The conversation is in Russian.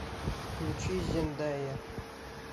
включи зендайя